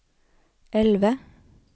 elve